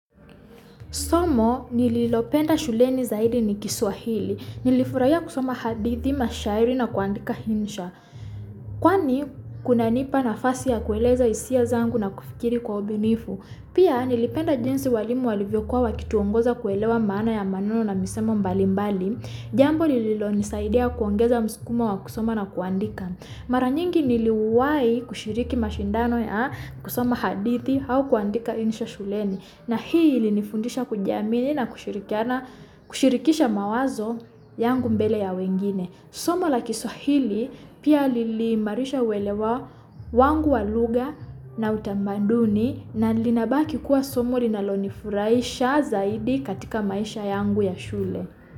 Somo nililopenda shuleni zaidi ni kiswahili, nilifuraiya kusoma hadithi mashairi na kuwandika hinsha. Kwani kunanipa nafasi ya kuweleza isia zangu na kufikiri kwa ubunifu. Pia nilipenda jinsi walimu walivyokuwa wakituwongoza kuwelewa mana ya maneno na misemo mbalimbali. Jambo lililonisaidia kuwongeza muskumo wa kusoma na kuwandika. Mara nyingi niliwahi kushiriki mashindano ya kusoma hadithi hau kuwandika hinsha shuleni. Nahi ilinifundisha kujiamini na kushirikisha mawazo yangu mbele ya wengine. Somo la kiswahili, pia lili marisha walewa wangu waluga na utamaduni na linabaki kua somo linalonifuraya zaidi katika maisha yangu ya shule.